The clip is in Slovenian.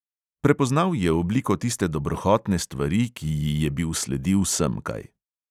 Prepoznal je obliko tiste dobrohotne stvari, ki ji je bil sledil semkaj.